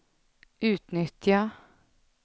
utnyttja